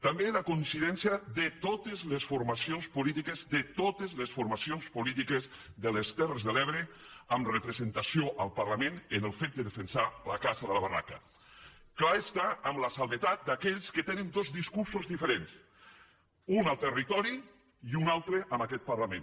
també la coincidència de totes les formacions polítiques de totes les formacions polítiques de les terres de l’ebre amb representació al parlament en el fet de defensar la caça de la barraca clar està amb l’excepció d’aquells que tenen dos discursos diferents un al territori i un altre en aquest parlament